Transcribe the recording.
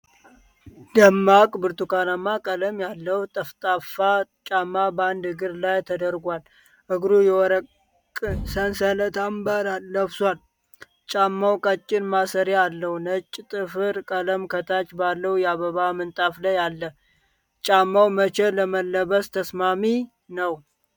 ደማቅ ብርቱካንማ ቀለም ያለው ጠፍጣፋ ጫማ በአንድ እግር ላይ ተደርጓል፤ እግሩ የወርቅ ሰንሰለት አምባር ለብሷል። ጫማው ቀጭን ማሰሪያ አለው፤ ነጭ ጥፍር ቀለም ከታች ባለው የአበባ ምንጣፍ ላይ አለ። ጫማው መቼ ለመልበስ ተስማሚ ነው?